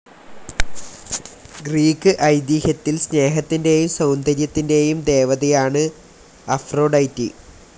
Greek ഐതീഹ്യത്തിൽ സ്നേഹത്തിൻ്റെയും സൗന്ദര്യത്തിൻ്റെയും ദേവതയാണ് അഫ്രൊഡൈറ്റി.